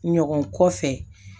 Ɲɔgɔn kɔfɛ